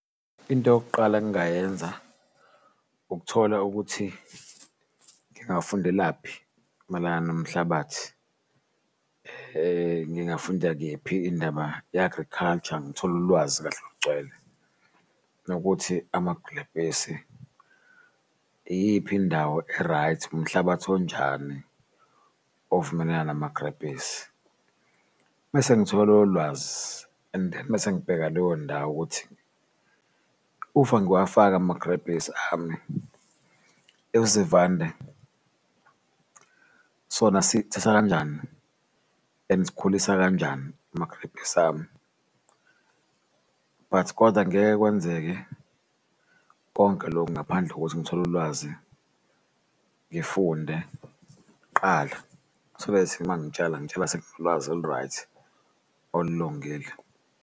Into yokuqala engayenza ukuthola ukuthi ngingafundelaphi mayelana nomhlabathi ngingafunda kephi indaba ye-agriculture ngithole ulwazi kahle olugcwele nokuthi amagulebhisi iyiphi indawo e-right, umhlabathi onjani ovumelana namagrebhisi. Mese ngithole ulwazi and then mese ngibheka leyo ndawo ukuthi ufa ngiwafaka amagrebhisi ami, izivanda sona sikuthatha kanjani and sikhulisa kanjani amagrebhisi ami. But koda angeke kwenzeke konke lokhu ngaphandle kokuthi ngithole ulwazi ngifunde qala so that mangitshala, ngitshala senginolwazi olu-right, olungile.